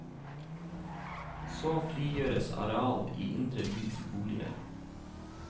Så frigjøres areal i indre by til boliger.